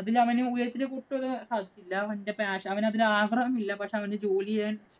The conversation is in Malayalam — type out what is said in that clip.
അതിലവന് ഉയരത്തിലേക്ക് വരാന്‍ സാധിച്ചില്ല. അവന്റെ passion, അവനതിനു ആഗ്രഹം ഇല്ല. അവന് അവന്‍റെ ജോലി ചെയ്യാന്‍